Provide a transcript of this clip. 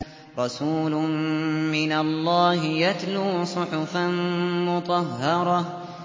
رَسُولٌ مِّنَ اللَّهِ يَتْلُو صُحُفًا مُّطَهَّرَةً